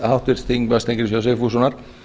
háttvirtur þingmaður steingríms j sigfússonar